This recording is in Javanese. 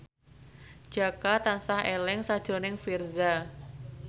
Jaka tansah eling sakjroning Virzha